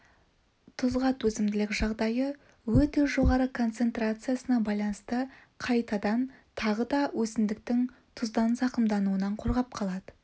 тұзға төзімділік жағдайы өте жоғары концентрациясына байланысты қайтадан тағы да өсімдіктің тұздан зақымдануынан қорғап қалады